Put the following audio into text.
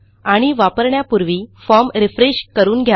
आणि वापरण्यापूर्वी form refresh करून घ्या